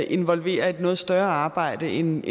involverer et noget større arbejde end